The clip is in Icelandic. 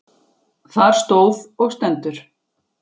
Þar stóð og stendur